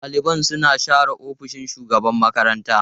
Ɗaliban suna share ofishin shugaban makaranta.